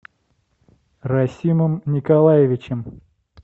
расимом николаевичем